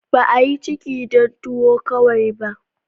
Ba a yi ciki dan tuwo kawai ba.